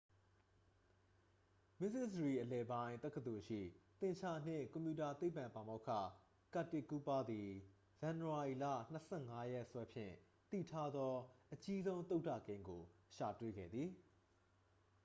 မစ္စဆော်ရီအလယ်ပိုင်း တက္ကသိုလ်ရှိ သင်္ချာနှင့် ကွန်ပျူတာသိပ္ပံ ပါမောက္ခ ကာတစ်ကူးပါးသည် ဇန်နဝါရီလ 25 ရက်စွဲဖြင့် သိထားသော အကြီးဆုံး သုဒ္ဒကိန်းကို ရှာတွေ့ခဲ့သည်